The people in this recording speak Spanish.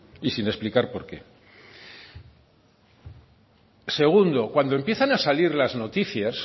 y sin explicar por qué segundo cuando empiezan a salir las noticias